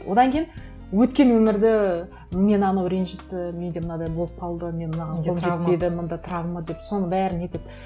одан кейін өткен өмірді мені анау ренжітті менде мынадай болып қалды мен мынаған мында травма деп соның бәрін нетеді